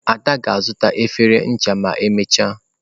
*Ada ga-azuta efere ncha ma emechaa.